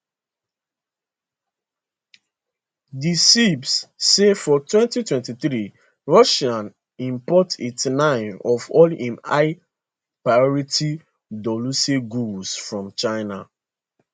di ceip say for 2023 russia import 89 of all im high priority dualuse goods from china